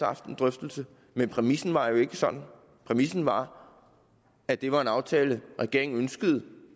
haft en drøftelse men præmissen var jo ikke sådan præmissen var at det var en aftale regeringen ønskede